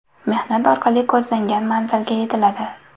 Mehnat orqali ko‘zlangan manzilga yetiladi”.